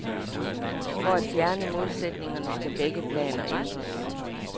For at fjerne modsætningerne skal begge planer ændres.